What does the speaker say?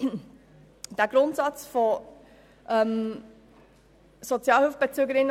Dieser Grundsatz, die Arbeitnehmenden wieder in